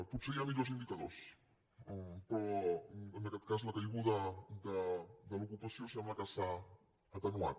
potser hi ha millors indicadors en aquest cas la caiguda de l’ocupació sembla que s’ha atenuat